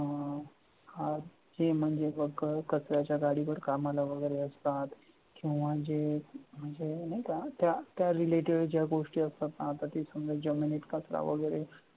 अं हा ते म्हणजे बघ कचऱ्याच्या गाडीवर कामाला वगैरे असतात किंवा जे म्हणजे नाही का relative ज्या गोष्टी असतात आता इथं जमिनीत कचरा वगैरे